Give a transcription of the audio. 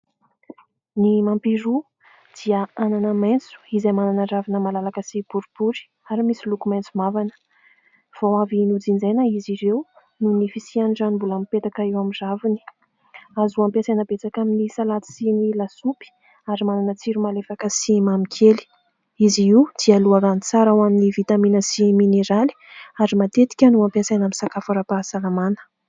Ny mampiroa dia anana maitso izay manana ravina malalaka sy boribory ary misy loko maitso mavana, vao avy nojinjaina izy ireo noho ny fisiany rano mbola mipetaka eo amin'ny raviny, azo ampiasaina betsaka amin'ny salady sy ny lasopy ary manana tsiro malefaka sy mamikely ; izy io dia loharano tsara ho an'ny vitamina sy mineraly ary matetika no ampiasaina amin'ny sakafo ara-pahasalamana.